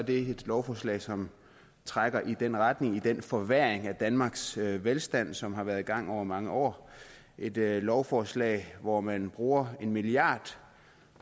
et lovforslag som trækker i den retning mod den forværring af danmarks velstand som har været i gang over mange år et lovforslag hvor man bruger en milliard